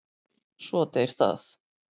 Svo deyr það.